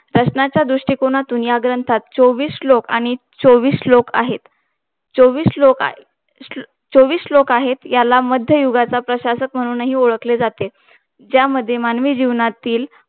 प्रश्नाच्या दृष्टिकोनातुन चोवीस श्लोक आहे. आणि चोवीस श्लोक, आहेचोवीस श्लोक अं आहे याला मध्ययुगाच्या प्रशासक म्हणून हि ओडखळे जाते यामध्ये मानवी जीवनातील